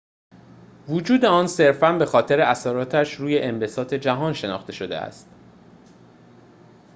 وجود آن صرفاً به‌خاطر اثراتش روی انبساط جهان شناخته شده است